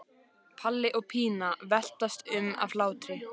Palli og Pína veltast um af hlátri.